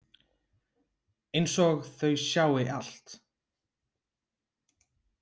Einsog þau sjái allt.